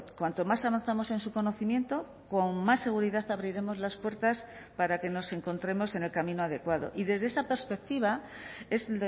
cuánto más avanzamos en su conocimiento con más seguridad abriremos las puertas para que nos encontremos en el camino adecuado y desde esta perspectiva es